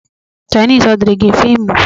Chainis ọ dịịrị gị mfe ịmụ?